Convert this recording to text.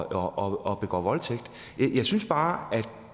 og begår voldtægt jeg synes bare at